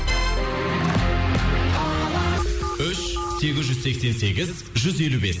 алаш үш сегіз жүз сексен сегіз жүз елу бес